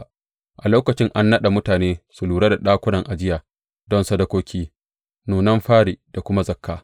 A lokacin an naɗa mutane su lura da ɗakunan ajiya don sadakoki, nunan fari da kuma zakka.